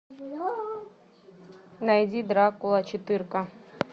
найди дракула четырка